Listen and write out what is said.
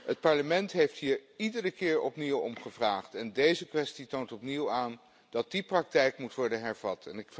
Het Parlement heeft hier iedere keer opnieuw om gevraagd en deze kwestie toont opnieuw aan dat die praktijk moet worden hervat.